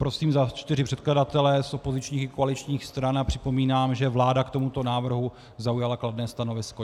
Prosím za čtyři předkladatele z opozičních i koaličních stran a připomínám, že vláda k tomuto návrhu zaujala kladné stanovisko.